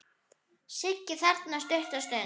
Sigga þagnar stutta stund.